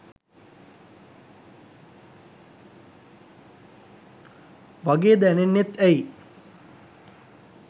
වගේ දැනෙන්නෙත් ඇයි